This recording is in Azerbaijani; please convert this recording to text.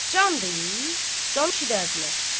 Can deyib, can eşitərdilər.